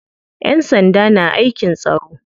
Ƴan sanda na aikin tsaro.